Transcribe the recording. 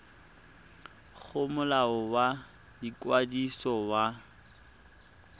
go molao wa ikwadiso wa